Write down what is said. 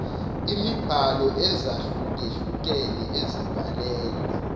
imibhalo ezahlukehlukene ezibhalela